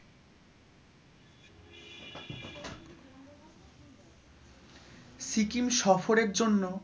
সিকিম সফরের জন্য